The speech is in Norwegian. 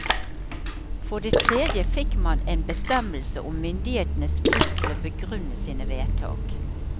For det tredje fikk man en bestemmelse om myndighetenes plikt til å begrunne sine vedtak.